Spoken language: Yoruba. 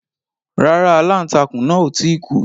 Rárá. Aláǹtakùn náà ò tí ì kú.